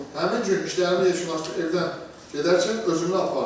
Həmin gün işlərimi yekunlaşdırıb evdən gedərkən özümlə apardım.